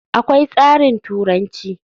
Akwai tsarin turanci.